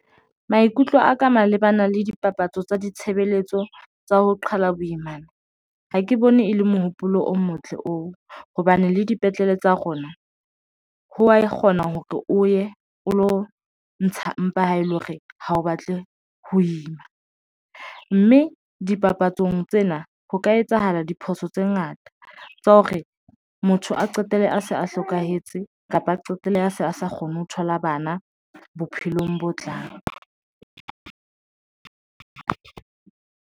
Maikutlo a ka mabapi le bana le dipapatso tsa ditshebeletso tsa ho qhala boimana. Ha ke bone e le mohopolo o motle oo hobane le dipetlele tsa rona ho wa kgona hore o ye o lo ntsha mpa ha ele hore ha o batle ho ima ng. Mme dipapatsong tsena ho ka etsahala diphoso tse ngata tsa hore motho a qetelle a se a hlokahetse kapa a qetelle a se a sa kgone ho thola bana bophelong bo tlang.